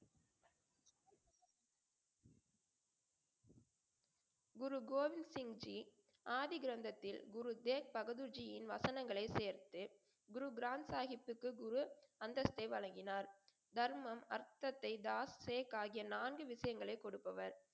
குரு கோவிந்த் சிங் ஜி ஆதிகிரந்தத்தில் குரு தேஜ்பகதூர் ஜியின் வசனங்களை சேர்த்து குரு கிரந்த்சாகிப்த்கு குரு அந்தஸ்தை வழங்கினார். தர்மம் அர்த்தத்தை தாஸ், ஷேக், ஆகிய நான்கு விஷயங்களை கொடுப்பவர்.